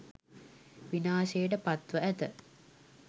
විනාශයට පත් ව ඇත